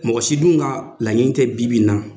Mɔgɔ si dun ka laɲini tɛ bi bi in na,